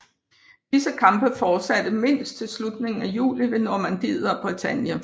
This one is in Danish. Disse kampe fortsatte mindst til slutningen af juli ved Normandiet og Bretagne